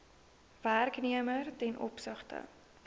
werknemer ten opsigte